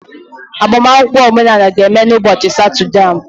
agbamakwụkwọ omenala ga-eme n'ụbọchị Satọde a